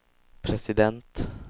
president